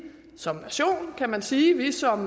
som nation kan man sige som